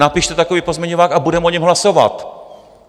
Napište takový pozměňovák a budeme o něm hlasovat.